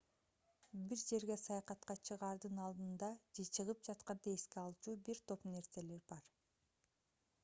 бир жерге саякатка чыгаардын алдында же чыгып жатканда эске алчу бир топ нерселер бар